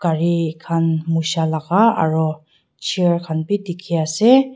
gari khan musha laka aro chair khan bi dikhiase.